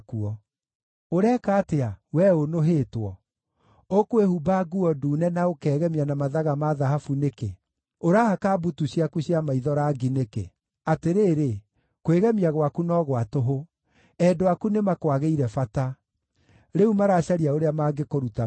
Ũreka atĩa, wee ũnũhĩtwo? Ũkwĩhumba nguo ndune na ũkegemia na mathaga ma thahabu nĩkĩ? Ũrahaka mbutu ciaku cia maitho rangi nĩkĩ? Atĩrĩrĩ, kwĩgemia gwaku no gwa tũhũ. Endwa aku nĩmakwagĩire bata; rĩu maracaria ũrĩa mangĩkũruta muoyo.